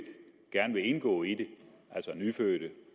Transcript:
gerne vil indgå i det altså nyfødte